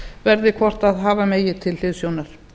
verði hvort hafa megi til hliðsjónar